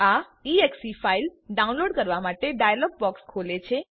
આ એક્સે file download કરવા માટે ડાયલોગ બોક્સ ખોલે છે